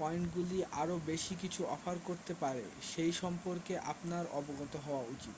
পয়েন্টগুলি আরও বেশি কিছু অফার করতে পারে সেই সম্পর্কে আপনার অবগত হওয়া উচিত